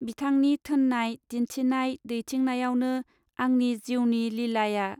बिथांनि थोननाय दिन्थिनाय दैथिंनायावनो आंनि जीउनि लीलाया.